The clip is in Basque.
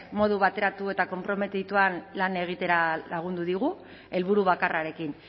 modu bateratu eta konprometituan lan egitera lagundu digu helburu bakarrarekin